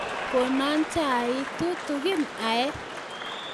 Kono chaik tutikiin aee